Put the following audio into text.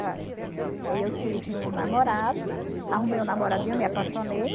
Aí eu tive um namorado, arrumei um namoradinho, me apaixonei.